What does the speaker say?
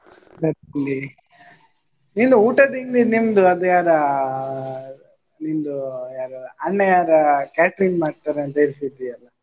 ನಿಂದು ಊಟದ್ದು ಇಲ್ಲಿ ನಿಮ್ದು ಅದ್ ಯಾರ ನಿಂದು ಅಣ್ಣ ಯಾರ catering ಮಾಡ್ತಾರೆ ಅಂತ ಹೇಳ್ತಿದ್ದಿ ಅಲ್ಲ.